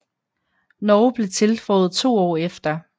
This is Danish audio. Norge blev tilføjet to år efter